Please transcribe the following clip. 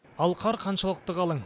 ал қар қаншалықты қалың